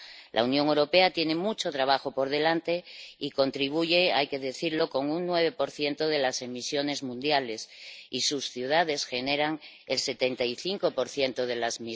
La Unión Europea tiene mucho trabajo por delante y contribuye —hay que decirlo— con un 9 de las emisiones mundiales y sus ciudades generan el 75 de ellas.